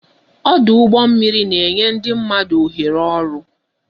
Ọdụ ụgbọ mmiri na enye ndị mmadụ oghere oru